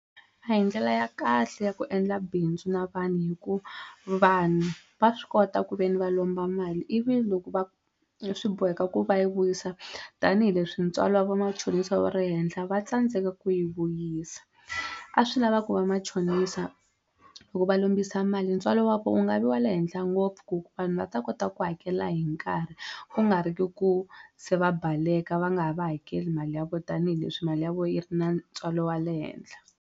A hi ndlela ya kahle ya ku endla bindzu na vanhu hikuva vanhu va swi kota ku ve ni va lomba mali ivi loko va swi boheka ku va yi vuyisa tanihileswi ntswalo vamachonisa wu ri henhla va tsandzeka ku yi vuyisa a swi lavaka ku vamachonisa loko va lombisa mali ntswalo wa vo wu nga vi wa le henhla ngopfu ku vanhu va ta kota ku hakela hi nkarhi ku nga ri ki ku se va baleka va nga ha va hakeli mali ya vo tanihileswi mali ya vo yi ri na ntswalo wa le henhla.